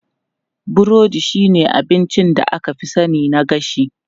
Burodi shine abincin da aka fi sani na gashi.